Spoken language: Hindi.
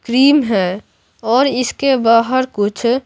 क्रीम है और इसके बाहर कुछ--